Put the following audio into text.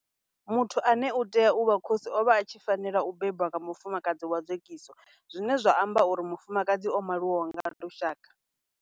Muthu ane a tea u vha khosi o vha a tshi fanela u bebwa nga mufumakadzi wa dzekiso zwine zwa amba uri mufumakadzi o maliwaho nga lushaka.